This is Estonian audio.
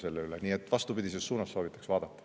Nii et soovitaksin seda vastupidises suunas vaadata.